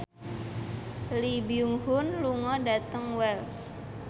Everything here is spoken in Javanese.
Lee Byung Hun lunga dhateng Wells